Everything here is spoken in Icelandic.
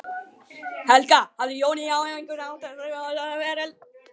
Helga: Hafði Jónína á einhvern hátt áhrif á þetta ferli?